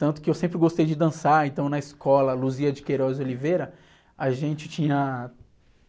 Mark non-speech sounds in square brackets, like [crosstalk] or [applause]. Tanto que eu sempre gostei de dançar, então na escola, [unintelligible] a gente tinha,